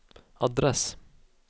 adress